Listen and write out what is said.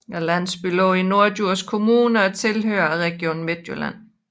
Landsbyen ligger i Norddjurs Kommune og tilhører Region Midtjylland